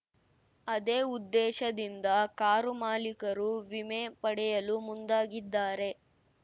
ಅದೇ ಉದ್ದೇಶದಿಂದ ಕಾರು ಮಾಲಿಕರು ವಿಮೆ ಪಡೆಯಲು ಮುಂದಾಗಿದ್ದಾರೆ